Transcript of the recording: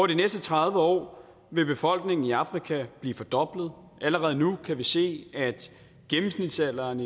næste tredive år vil befolkningen i afrika blive fordoblet allerede nu kan vi se at gennemsnitsalderen